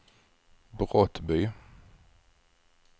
Brottby